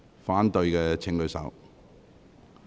反對的請舉手。